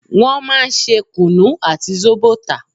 Wọn máa ń ṣe kunu àti zobo tà